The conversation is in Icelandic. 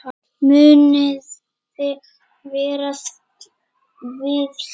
Muniði verða við því?